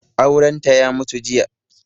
Aurenta ya mutu jiya.